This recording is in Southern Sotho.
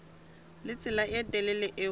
le tsela e telele eo